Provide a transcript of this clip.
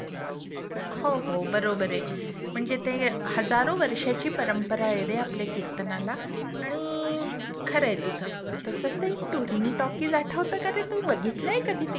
हो हो बरोबर आहे. म्हणजे ते हजारो वर्षाची परंपरा आहे रे आपल्या कीर्तनाला. आणि खरंय तु तसंच ते टुरिंग टॉकीज आठवतं का रे? तू बघितलंय कधी ते? पिक्चर त्यावर